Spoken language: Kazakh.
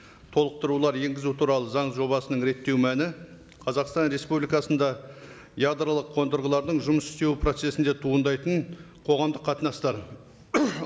толықтырулар енгізу туралы заң жобасының реттеу мәні қазақстан республикасында ядролық қондырғылардың жұмыс істеу процессінде туындайтын қоғамдық қатынастар